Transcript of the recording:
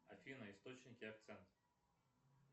афина источники акцент